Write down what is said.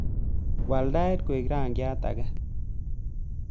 Waal tait koek rangyat age